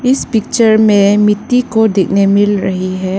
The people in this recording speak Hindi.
इस पिक्चर में मिट्टी को देखने मिल रही है।